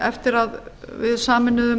eftir að við sameinuðum